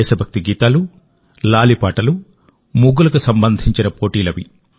దేశభక్తి గీతాలు లాలి పాటలు ముగ్గులకు సంబంధించిన పోటీలవి